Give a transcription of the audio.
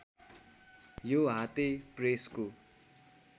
यो हाते प्रेसको